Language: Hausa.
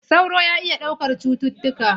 Sauro na iya ɗaukar cututtuka.